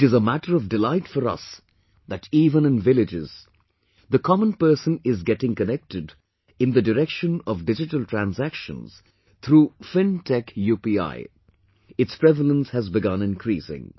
It is matter of delight for us that even in villages, the common person is getting connected in the direction of digital transactions through fintech UPI... its prevalence has begun increasing